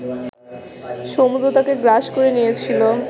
সমুদ্র তাকে গ্রাস করে নিয়েছিল